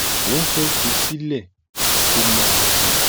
wọn fẹẹ fi í sílẹ kó máa lọ